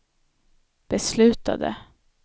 beslutade